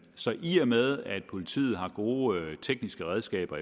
så i og med at politiet efterhånden har gode tekniske redskaber